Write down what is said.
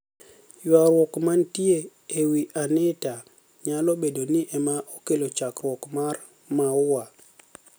Ywaruok maniitie e wi Anitaniyalo bedo nii ema ni e okelo chakruok mar maua.